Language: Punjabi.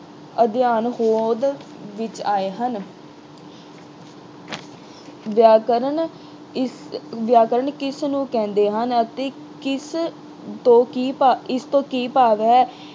ਅਧਿਐਨ ਹੋਂਦ ਵਿੱਚ ਆਏ ਹਨ। ਵਿਆਕਰਨ ਇਸ ਅਹ ਵਿਆਕਰਨ ਕਿਸ ਨੂੰ ਕਹਿੰਦੇ ਹਨ ਅਤੇ ਕਿਸ ਤੋਂ ਕੀ ਭਾਵ ਅਹ ਇਸ ਤੋਂ ਕੀ ਭਾਵ ਹੈ?